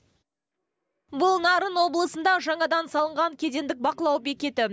бұл нарын облысында жаңадан салынған кедендік бақылау бекеті